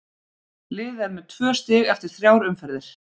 Liðið er með tvö stig eftir þrjár umferðir.